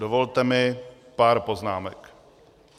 Dovolte mi pár poznámek.